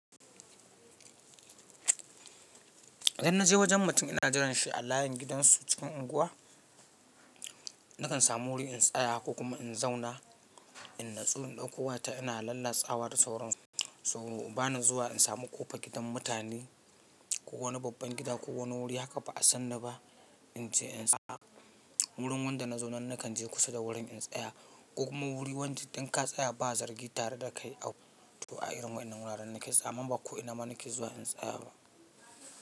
Idan na je wajen mutum ina jiranshi a layin gidansu cikin unguwa, nakan samu wuri in tsaya ko kuma in zauna, in natsu in ɗauko wayata ina lallatsawa da sauransu. So bana zuwa in sami ƙofar gidan mutane, ko wani babban gida ko wani wuri haka ba'a san ni ba, In ce in tsaya, wurin wanda na zo nan nakan je kusa da wurin in tsaya. Ko kuma wuri wanda in ka tsaya ba zargi tare da kai, ah, to a irin waƴannan wuraren nake tsa-- amma ba ko ina ma nake zuwa in tsaya ba.